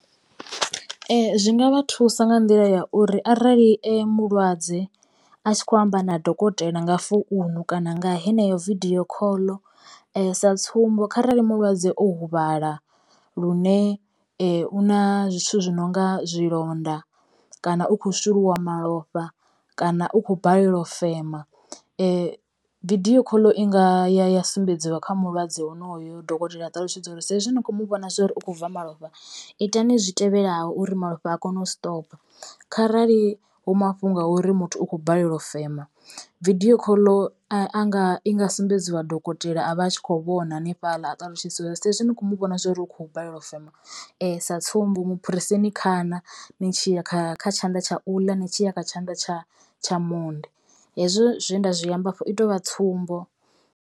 Zwi nga vha thusa nga nḓila ya uri arali mulwadze a tshi kho amba na dokotela nga founu kana nga heneyo vidio khoḽo sa tsumbo kharali mulwadze o huvhala lune u na zwithu zwi nonga zwilonda kana u kho shuluwa malofha kana u kho balelwa u fema vidio khoḽo i nga ya sumbedziwa kha mulwadze honoyo. Dokotela a ṱalutshedza uri sa izwi ni kho muvhona zwori u kho bva malofha itani zwi tevhelaho uri malofha a kone u stopa kharali hu mafhungo a uri muthu u khou balelwa u fema vidio khoḽo a nga i nga sumbedziwa dokotela a vha a tshi kho vhona hanefhala a ṱalutshedza uri saizwi ni kho mu vhona zwori u kho balelwa u fema sa tsumbo muphureseni khana ni tshi ya kha tshanḓa tsha u ḽa ni tshi ya kha tshanḓa tsha monde hezwo zwe nda zwi amba hafho i tovha tsumbo.